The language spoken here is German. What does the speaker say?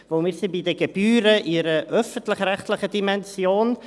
Denn wir sind bei den Gebühren in einer öffentlich-rechtlichen Dimension.